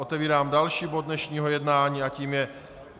Otevírám další bod dnešního jednání a tím je